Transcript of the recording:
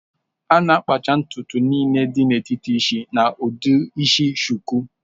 A na-akpacha ntutu niile n'etiti isi na ụdị isi shuku